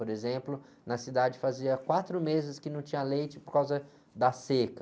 Por exemplo, na cidade fazia quatro meses que não tinha leite por causa da seca.